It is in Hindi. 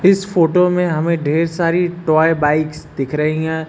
इस फोटो में हमें ढेर सारी टॉय बाइक दिख रही है।